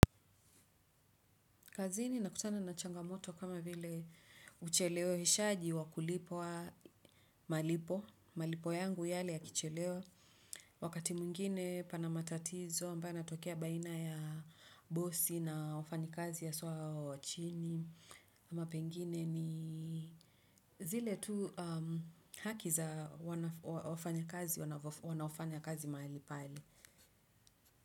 Kazini nakutana na changamoto kama vile ucheleweshaji wa kulipwa malipo, malipo yangu yale ya kichelewa, wakati mwingine pana matatizo ambayo yanatokea baina ya bosi na wafanikazi haswa hao wa chini, ama pengine ni zile tu haki za wafanyakazi wanaofanya kazi mahali pale.